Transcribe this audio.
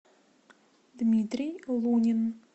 дмитрий лунин